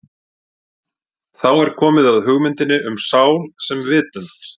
Þá er komið að hugmyndinni um sál sem vitund.